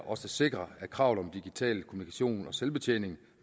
også sikrer at kravet om digital kommunikation og selvbetjening